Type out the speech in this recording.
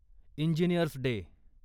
engineers day